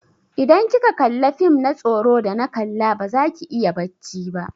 Idan kika kalla fim na tsoro da na kalla baza ki iya bacci ba.